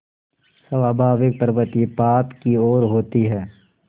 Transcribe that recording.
स्वाभाविक प्रवृत्ति पाप की ओर होती है